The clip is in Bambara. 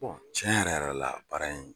Tiɲɛ yɛrɛ yɛrɛ la baara in